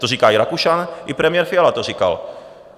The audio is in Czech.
To říká i Rakušan i premiér Fiala to říkal.